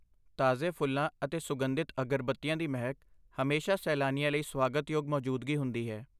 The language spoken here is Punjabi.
ਤਾਜ਼ੇ ਫੁੱਲਾਂ ਅਤੇ ਸੁਗੰਧਿਤ ਅਗਰਬੱਤੀਆਂ ਦੀ ਮਹਿਕ ਹਮੇਸ਼ਾ ਸੈਲਾਨੀਆਂ ਲਈ ਸਵਾਗਤਯੋਗ ਮੌਜੂਦਗੀ ਹੁੰਦੀ ਹੈ।